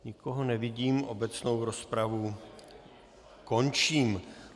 Nikoho nevidím, obecnou rozpravu končím.